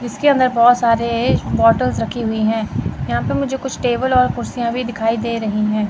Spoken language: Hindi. इसके अंदर बहोत सारे बॉटल रखी हुई है यहां पे मुझे कुछ टेबल और कुर्सियां भी दिखाई दे रही है।